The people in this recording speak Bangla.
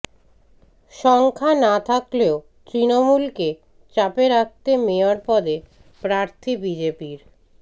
সংখ্যা না থাকলেও তৃণমূলকে চাপে রাখতে মেয়র পদে প্রার্থী বিজেপির